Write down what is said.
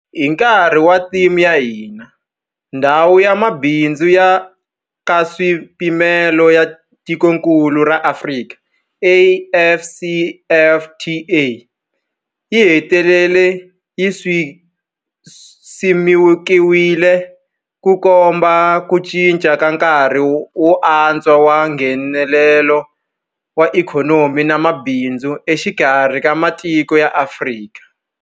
Hi nkarhi wa theme ya hina, Ndhawu ya Mabindzu ya Nkaswipimelo ya Tikokulu ra Afrika AfCFTA yi hetelele yi simekiwile, Ku komba ku cinca ka nkarhi wuntshwa wa Nghenelelano wa ikhonomi na mabindzu exikarhi ka matiko ya Afrika.